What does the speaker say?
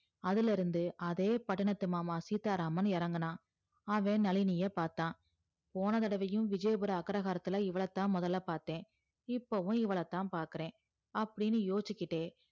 அதுல இருந்து அதே பட்டணத்து மாமா சீத்தாராமன் எறங்குனா அவன் நழினியே பாத்தா போனதடவையும் விஜயபுர அக்ரகரத்துல இவள தான் மொதல பாத்தேன் இப்போவும் இவள தான் பாக்குறேன் அப்டின்னு யோசிச்சிகிட்டே